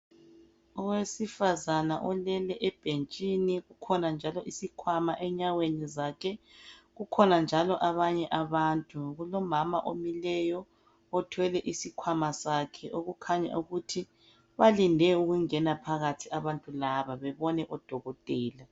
Owesifazana olele ebhentshini kukhona njalo isikhwamaenyaweni zakhe kukhona njalo abanye abantu kulomama omileyo othwele isikhwama sakhe okukhanya ukuthi balinde ukungena phakathi abantu laba babone udokotela.